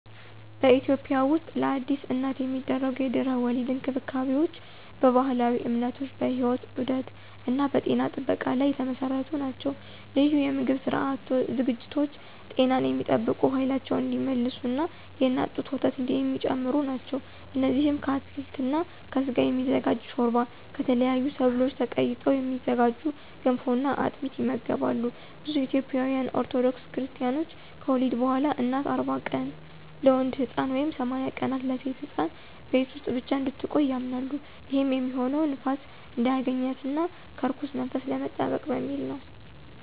በኢትዮጵያ ውስጥለአዲስ እናት የሚደረጉ የድህረ-ወሊድ እንክብካቤዎች በባህላዊ እምነቶች፣ በሕይወት ዑደት እና በጤና ጥበቃ ላይ የተመሰረቱ ናቸው። ልዩ የምግብ ዝግጅቶች ጤናን የሚጠብቁ፣ ኃይላቸውን እንዲመልሱ እና የእናት ጡት ወተት የሚጨምሩ ናቸው። እነዚህም ከአትክልት እና ከስጋ የሚዘጋጅ ሾርባ፣ ከተለያዩ ሰብሎች ተቀይጠው የሚዘጋጁ ገንፎ እና አጥሚት ይመገባሉ። ብዙ ኢትዮጵያውያን ኦርቶዶክስ ክርስታኖች ከወሊድ በኋላ እናት 40 ቀናት (ለወንድ ሕፃን) ወይም 80 ቀናት (ለሴት ሕፃን) ቤት ውስጥ ብቻ እንድትቆይ ያምናሉ። ይህም የሚሆነው ንፋስ እንዳያገኛት እና ከርኩስ መንፈስ ለመጠበቅ በሚል ነው።